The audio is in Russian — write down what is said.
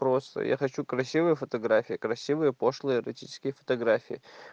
просто я хочу красивые фотографии красивые пошлые эротические фотографии